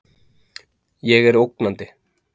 Ég er ógnandi.